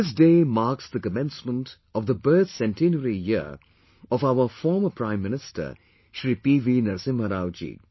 This day marks the commencement of the birth centenary year of our former Prime Minister Shri PV Narasimha Rao ji